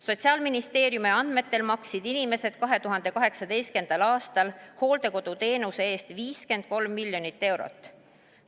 Sotsiaalministeeriumi andmetel maksid inimesed 2018. aastal hooldekoduteenuse eest 53 miljonit eurot.